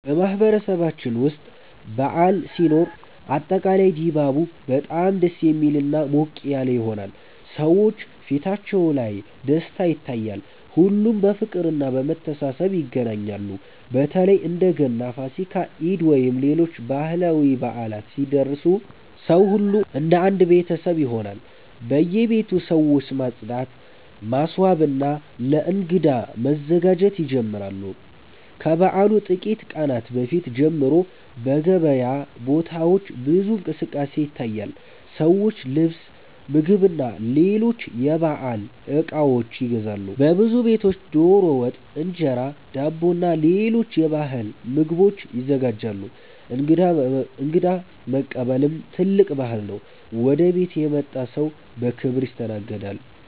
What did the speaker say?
በማህበረሰባችን ውስጥ በዓል ሲኖር አጠቃላይ ድባቡ በጣም ደስ የሚልና ሞቅ ያለ ይሆናል። ሰዎች ፊታቸው ላይ ደስታ ይታያል፣ ሁሉም በፍቅርና በመተሳሰብ ይገናኛሉ። በተለይ እንደ ገና፣ ፋሲካ፣ ኢድ ወይም ሌሎች ባህላዊ በዓላት ሲደርሱ ሰው ሁሉ እንደ አንድ ቤተሰብ ይሆናል። በየቤቱ ሰዎች ማጽዳት፣ ማስዋብና ለእንግዳ መዘጋጀት ይጀምራሉ። ከበዓሉ ጥቂት ቀናት በፊት ጀምሮ በገበያ ቦታዎች ብዙ እንቅስቃሴ ይታያል፤ ሰዎች ልብስ፣ ምግብና ሌሎች የበዓል እቃዎች ይገዛሉ። በብዙ ቤቶች ዶሮ ወጥ፣ እንጀራ፣ ዳቦና ሌሎች የባህል ምግቦች ይዘጋጃሉ። እንግዳ መቀበልም ትልቅ ባህል ነው፤ ወደ ቤት የመጣ ሰው በክብር ይስተናገዳል።